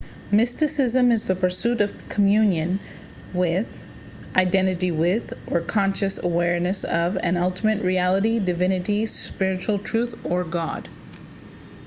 mysticism is the pursuit of communion with identity with or conscious awareness of an ultimate reality divinity spiritual truth or god